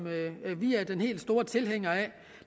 vi er den helt store tilhænger af